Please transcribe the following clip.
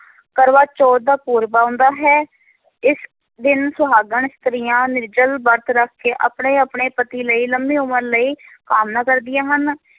ਕਰਵਾ ਚੌਥ ਦਾ ਪੂਰਬ ਆਉਂਦਾ ਹੈ, ਇਸ ਦਿਨ ਸੁਹਾਗਣ ਇਸਤਰੀਆਂ ਨਿਰਜਲ ਵਰਤ ਰੱਖ ਕੇ ਆਪਣੇ ਆਪਣੇ ਪਤੀ ਲਈ ਲੰਮੀ ਉਮਰ ਲਈ ਕਾਮਨਾ ਕਰਦੀਆਂ ਹਨ,